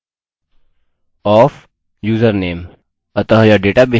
अतः यह डेटाबेस में संचित यूज़रनेम होगा